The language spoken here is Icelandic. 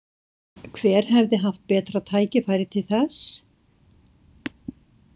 Hver hafði haft betra tækifæri til þess?